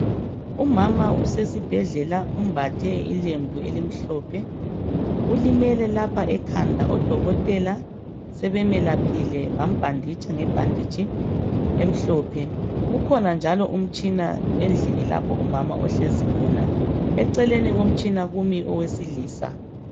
Umama usesibhedlela umbathe ilembu elimhlophe ulimele lapha ekhanda odokotela sebemelaphile bambhanditsha nge "bandage" emhlophe kukhona njalo umutshina endlini lapho umama ohlezi khona eceleni komtshina kumi owesilisa.